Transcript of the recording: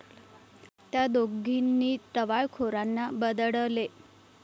त्या दोघींनी टवाळखोरांना बदडले